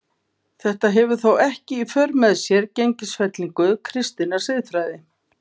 Þetta hefur þó ekki í för með sér gengisfellingu kristinnar siðfræði.